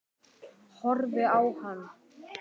Horfi á hann.